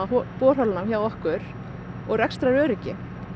borholanna hjá okkur og rekstraröryggi